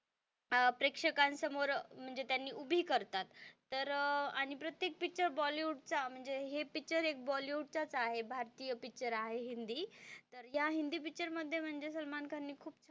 अह प्रेक्षकांसमोर म्हणजे त्यांनी उभी करतात तर आणि प्रत्येक पिक्चर बॉलीवूड चा म्हणजे हे पिक्चर एक बॉलीवूड चा च आहे भारतीय पिक्चर आहे हिंदी तर ह्या हिंदी पिक्चरमध्ये म्हणजे सलमान खान ने खूप,